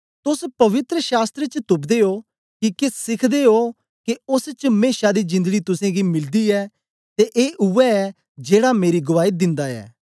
तोस पवित्र शास्त्र च तुपदे ओ किके सिखदे ओ के ओस च मेशा दी जिंदड़ी तुसेंगी मिलदी ऐ ते ए उवै ऐ जेड़ा मेरी गुआई दिंदा ऐ